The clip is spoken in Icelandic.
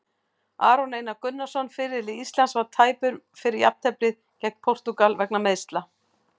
Aron Einar Gunnarsson, fyrirliði Íslands, var tæpur fyrir jafnteflið gegn Portúgal vegna meiðsla.